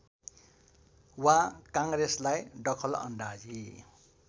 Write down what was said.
वा काङ्ग्रेसलाई दखलअन्दाजी